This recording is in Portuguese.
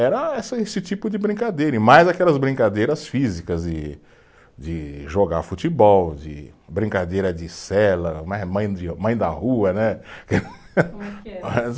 Era essa esse tipo de brincadeira, e mais aquelas brincadeiras físicas e, de jogar futebol, de brincadeira de cela, mãe mãe da rua, né?